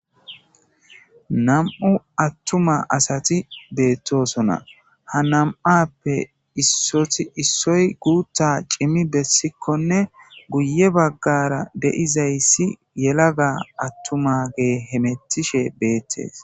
Nam7u attuma asati beettosona ha nam7appe issoti issoy guuta cimmi bessikkonne guye baggara deizayssi yelaga attuma gee hemettishe beettees.